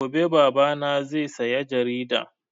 Gobe Baba na zai saya jarida